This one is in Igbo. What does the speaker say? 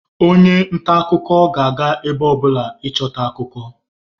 onye nta akụkọ ga-aga ebe ọbụla ịchọta akụkọ